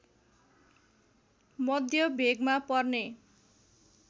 मध्य भेगमा पर्ने